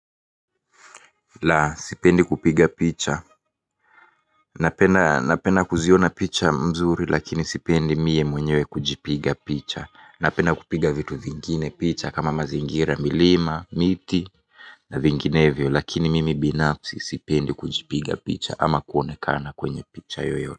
La, sipendi kupiga picha. Napena kuziona picha mzuri lakini sipendi mie mwenyewe kujipiga picha. Napena kupiga vitu vingine picha kama mazingira, milima, miti na vinginevyo lakini mimi finapsi sipendi kujipiga picha ama kuonekana kwenye picha yoyote.